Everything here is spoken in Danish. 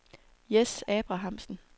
Jess Abrahamsen